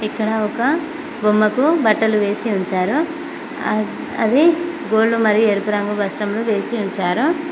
ఇక్కడ ఒక బొమ్మకు బట్టలు వేసి ఉంచారు అద్ అది గోల్డు మరియు ఎరుపు రంగు వస్త్రం ను వేసి ఉంచారు.